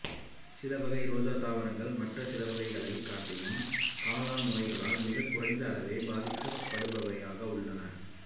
சில வகை ரோஜா தாவரங்கள் மற்ற சில வகைகளைக் காட்டிலும் காளான் நோய்களால் மிகக் குறைந்த அளவே பாதிக்கப்படுபவையாக உள்ளன